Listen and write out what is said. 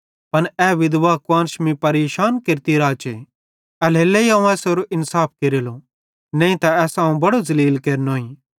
पन ए विधवा कुआन्श मीं परेशान केरती राचे एल्हेरेलेइ अवं एसारो इन्साफ केरेलो नईं त एसां अवं बड़ो ज़लील केरनोईं